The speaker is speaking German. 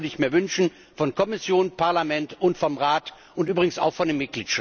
Das würde ich mir wünschen von der Kommission, vom Parlament und vom Rat und übrigens auch von den